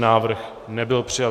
Návrh nebyl přijat.